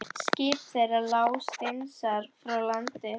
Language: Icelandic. Skip þeirra lá steinsnar frá landi.